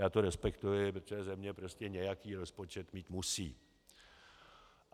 Já to respektuji, protože země prostě nějaký rozpočet mít musí.